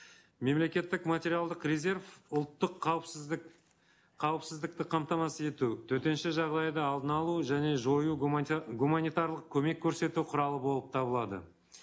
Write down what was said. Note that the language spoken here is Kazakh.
мемлекеттік материалдық резерв ұлттық қауіпсіздік қауіпсіздікті қамтамасыз ету төтенше жағдайда алдын алу және жою гуманитарлық көмек көрсету құралы болып табылады